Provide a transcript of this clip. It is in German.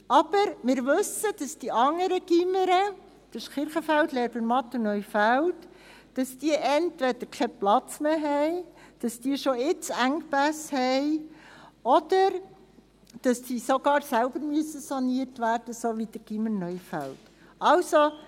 Aber wir wissen, dass die anderen Gymnasien – das sind Kirchenfeld, Lerbermatt und Neufeld – entweder keinen Platz mehr haben, dass sie schon jetzt Engpässe haben, oder dass sie sogar saniert werden müssen, wie das Gymnasium Neufeld.